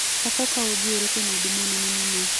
Baba ũka ũnjiyĩre kwĩna nduma nene mũno.